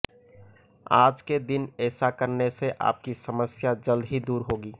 आज के दिन ऐसा करने से आपकी समस्या जल्द ही दूर होगी